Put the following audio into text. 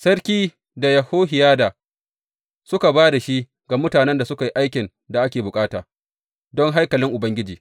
Sarki da Yehohiyada suka ba da shi ga mutanen da suka yi aikin da ake bukata don haikalin Ubangiji.